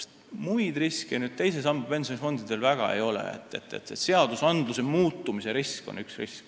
Muid riske teise samba pensionifondidel väga ei ole, aga seaduste muutumise risk on küll.